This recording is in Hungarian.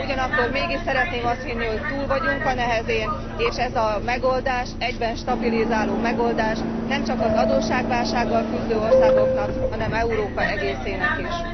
Ugyanakkor mégis szeretném azt hinni, hogy túl vagyunk a nehezén, és ez a megoldás egyben stabilizáló megoldás, nemcsak az adósságválsággal küzdő országoknak, hanem Európa egészének is.